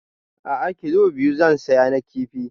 A'a kilo biyu zan saya na kifi